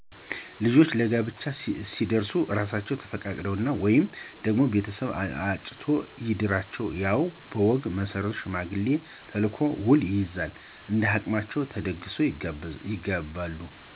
ልጆች ለጋብቻ ሲደርሡ እራሣቸው ተፈቃቅረው ወይ ደግሞ ቤተሰብ አጭቶ ይድራቸዋል፤ ያው በወጉ መሠረት ሽማግሌ ተልኮ ውል ይያዛል እንደሀቅማቸው ተደግሶ ይጋባሉ።